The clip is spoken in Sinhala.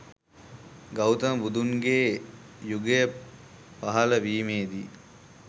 ගෞතම බුදුරජුන්ගේ යුගය පහළ වීමේදී